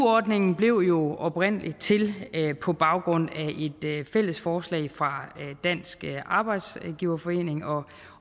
ordningen blev jo oprindelig til på baggrund af et fælles forslag fra dansk arbejdsgiverforening og